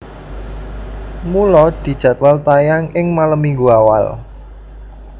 Mula dijadwal tayang ing malem Minggu awal